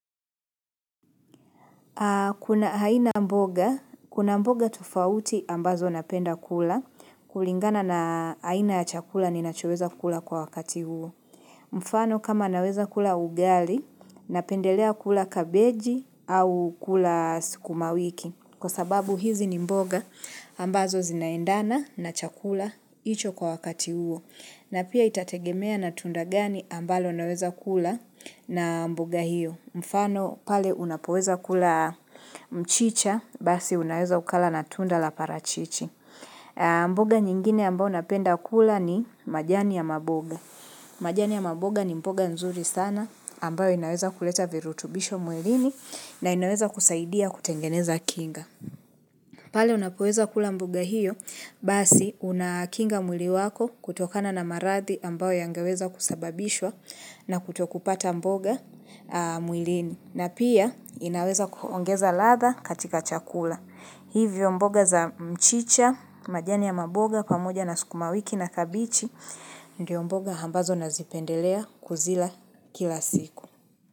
Kuna aina mboga, kuna mboga tofauti ambazo napenda kula, kulingana na aina ya chakula ninachoweza kula kwa wakati huo. Mfano kama naweza kula ugali, napendelea kula kabeji au kula sukumawiki, kwa sababu hizi ni mboga ambazo zinaendana na chakula hicho kwa wakati huo. Na pia itategemea na tunda gani ambalo unaweza kula na mboga hiyo. Mfano pale unapoweza kula mchicha basi unaweza ukala na tunda la parachichi. Mboga nyingine ambao unapenda kula ni majani ya maboga. Majani ya mboga ni mboga nzuri sana ambao inaweza kuleta virutubisho mwilini na inaweza kusaidia kutengeneza kinga. Pale unapoweza kula mboga hiyo, basi unakinga mwili wako kutokana na maradhi ambayo yangeweza kusababishwa na kutokupata mboga mwilini. Na pia inaweza kuongeza ladha katika chakula. Hivyo mboga za mchicha, majani ya maboga, pamoja na sukumawiki na kabichi, ndiyo mboga ambazo nazipendelea kuzila kila siku.